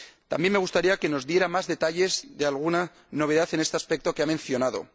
También me gustaría que nos diera más detalles de alguna novedad en este aspecto que ha mencionado.